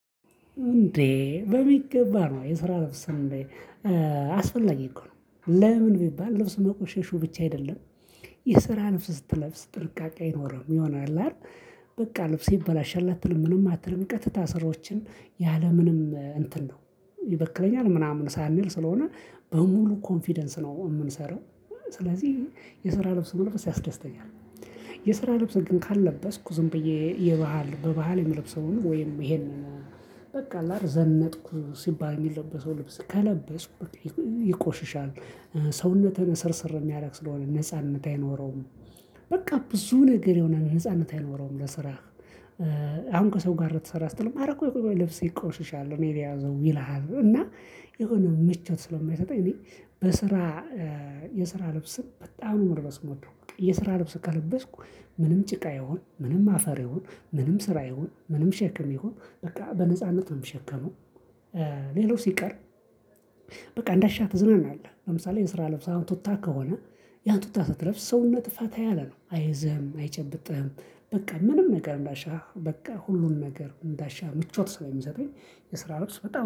እንዴ በሚገባ ነው የስራ ልብስ እንዴ አስፈላጊ እኮ ነው። ለምን ቢባል ልብሱ መቆሸሹ ብቻ አይደለም። የስራ ልብስ ስትለብስ ጥንቃቄ አይኖርህም። የሆነ አለ አይደል በቃ ልብሴ ይበላሻል አትልም ምንም አትልም ቀጥታ ስራዎችን ያለምንም እንትን ነው። ይበክለኛል ምናምን ሳንል ስለሆነ በሙሉ ኮንፊደንስ ነው የምንሰራው። ስለዚህ የስራ ልብስ መልበስ ያስደስተኛል። የስራ ልብስ ግን ካልለበስኩ ዝም ብዬ የባህል በባህል የምለብሰውን ወይም ይሄንን በቃ ላር ዘነጥኩ ሲባል የሚለበሰው ልብስ ከለበስኩ ይቆሽሻል። ሰውነትህን እስርስር የሚያደርግ ስለሆነ ነጻነት አይኖረውም። በቃ ብዙ ነገር የሆነ ነጻነት አይኖረውም። ለስራህ አሁን ከሰው ጋር ልትሰራ ስትል ኧረ ቆይ ቆይ ልብስህ ይቆሽሻል እኔ ልያዘው ይልሃል። እና የሆነ ምቾት ስለማይሰጠኝ እኔ በስራ የስራ ልብስን በጣም ነው መልበስ የምወደው። የስራ ልብስ ከለበስኩ ምንም ጭቃ ይሁን፤ ምንም አፈር ይሁን፤ ምንም ስራ ይሁን ምንም ሸክም ይሁን፤ በቃ በነጻነት ነው የምሸከመው። ሌላው ሲቀር በቃ እንዳሻህ ትዝናናለህ። ለምሳሌ የስራ ልብስህ አሁን ቱታ ከሆነ፤ ያንን ቱታ ስትለብስ ሰውነትህ ፈታ ያለ ነው። አይዝህም፣ አይጨብጥህም፣ በቃ ምንም ነገር እንዳሻህ፤ በቃ ሁሉን ነገር እንዳሻህ፤ ምቾት ስለሚሰጥህ፤ የስራ ልብስ በጣም